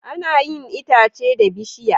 Ana yin itace da bishiya